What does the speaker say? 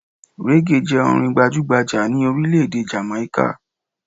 Reggae jẹ orin gbajugbaja ni orílẹ̀-èdè Jàmàíkà